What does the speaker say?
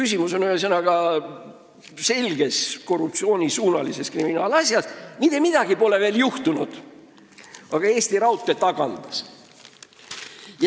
Jutt on korruptsiooniga seotud kriminaalasjast, kus pole veel mitte midagi juhtunud, aga Eesti Raudtee juba tagandas inimese.